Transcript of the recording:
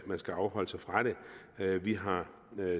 man skal afholde sig fra det her vi har